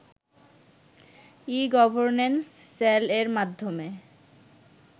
e-governance সেলএর মাধ্যমে